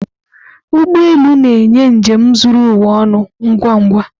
Ụgbọ elu na-enye njem zuru ụwa ọnụ ngwa ngwa.